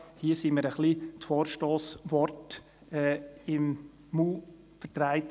Hier wurden mir die Vorstossworte im Mund verdreht.